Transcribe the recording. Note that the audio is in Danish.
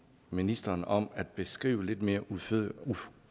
ministeren om at beskrive lidt mere udførligt